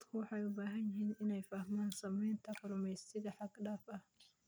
Dadku waxay u baahan yihiin inay fahmaan saamaynta kalluumaysiga xad-dhaafka ah.